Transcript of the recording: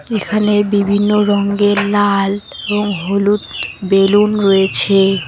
এখানে বিভিন্ন রঙ্গের লাল এবং হলুদ বেলুন রয়েছে।